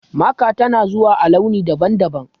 Maka tana zuwa a launi daban-daban.